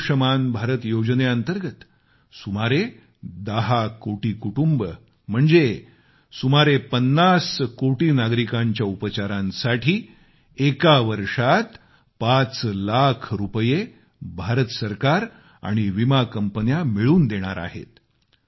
आयुष्मान भारतयोजनेअंतर्गत सुमारे 10 कोटी कुटुंबे म्हणजे सुमारे 50 कोटी नागरिकांच्या उपचारांसाठी एका वर्षात पाच लाख रुपये भारत सरकार आणि विमा कंपन्या मिळून देणार आहेत